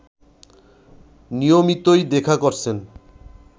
নিয়মিতই দেখা করছেন